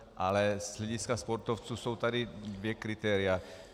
Ale z hlediska sportovců jsou tady dvě kritéria.